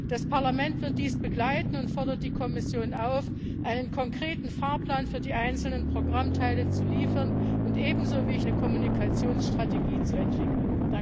Das Parlament wird dies begleiten und fordert die Kommission auf, einen konkreten Fahrplan für die einzelnen Programmteile zu liefern und eine Kommunikationsstrategie zu entwickeln.